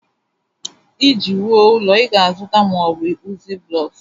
Iji wuo ụlọ ị ga-azụta ma ọ bụ ịkpụzi blocks